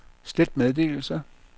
slet meddelelse